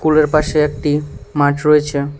স্কুলের পাশে একটি মাঠ রয়েছে।